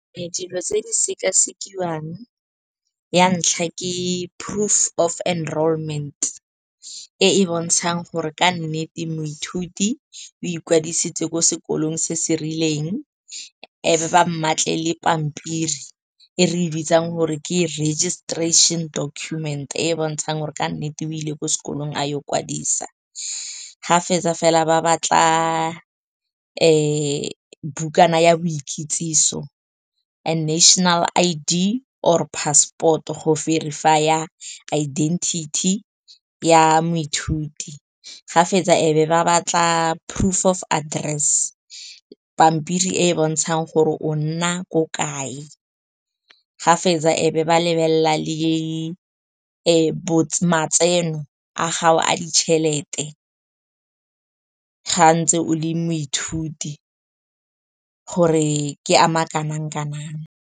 Dilo tse di sekasekiwang, ya ntlha ke proof of enrollment e e bontshang gore ka nnete moithuti o ikwadisitse ko sekolong se se rileng. E be ba mmatle le pampiri e re e bitsang gore ke registration documents, e e bontshang gore ka nnete o ile ko sekolong a yo kwadisa. Ga fetsa fela ba batla bukana ya boikitsiso and national I_D or passport-o go verify-a identity ya moithuti. Ga fetsa, e be ba batla proof of address, pampiri e e bontshang gore o nna ko kae. Ga fetsa, e be ba lebelela le matseno a gago a ditšhelete, ga ntse o le moithuti, gore ke ama kanang-kanang.